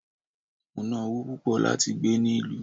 Mo ná ọwó púpò lati gbé ni ìlú